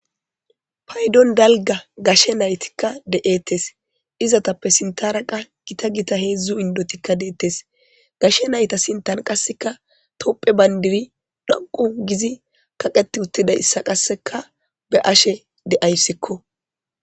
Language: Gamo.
Paydon dalgga gashe nayttikka de77ettes.izzatappekka si.tharrakka gitta gitta heezu indotti dettes gashe naytta sinthan tophiyya bandirray kaqqeti uttidayssa be77ashe de77ays.